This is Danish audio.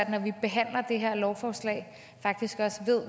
når vi behandler det her lovforslag faktisk også